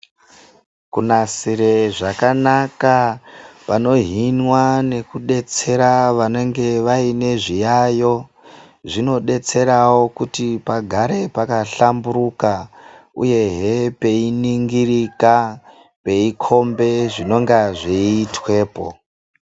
Kunasire zvakanaka vanohinwa nekudetsera vanenge vaine zviyayo zvinodetserawo kuti pagare pakahlamburuka uyehe peiningirika peikombe zvinonga zveitwepo.